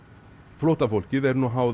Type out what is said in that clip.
flóttafólkið er nú háð